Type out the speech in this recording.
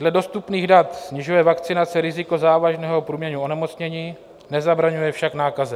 Dle dostupných dat snižuje vakcinace riziko závažného průběhu onemocnění, nezabraňuje však nákaze.